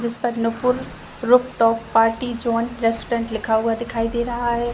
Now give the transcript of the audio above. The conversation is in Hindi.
जिस पर Nupur roof top party joint restaurant लिखा हुआ दिखाई दे रहा है ।